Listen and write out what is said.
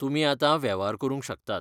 तुमी आतां वेव्हार करूंक शकतात.